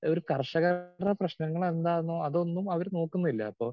speaker 2 ഒരു കർഷകരുടെ പ്രശ്നങ്ങൾ എന്താന്നോ അതൊന്നും അവര് നോക്കുന്നില്ല അപ്പോ